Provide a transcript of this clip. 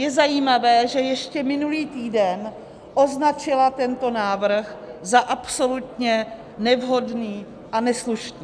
Je zajímavé, že ještě minulý týden označila tento návrh za absolutně nevhodný a neslušný.